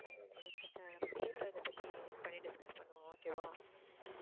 நேர்ல இதை பற்றி meet பண்ணி discuss பண்ணுவோம் okay வா